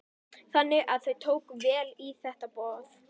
Þannig að þau tóku vel í þetta boð?